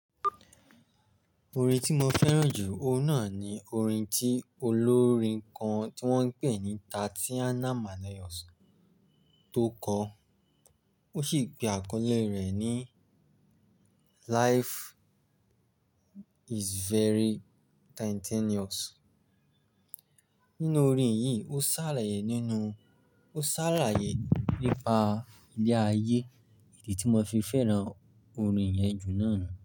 Orin tí mo fẹ́ràn jù náà ni orin tí olórin kan tí wọ́n ń pè ní Tatiana Manoyos tó kọ, ó sì gbé àkọlé rẹ̀ ní Life is very continuous. Nínú orin yìí, ó sálàyé ninu, nípa ilé ayé, idi tí mo fi fẹ́ràn orin yẹn jù náà nu.